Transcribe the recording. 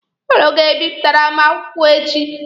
Ụnụ ga-ebipụtare m akwụkwọ echi.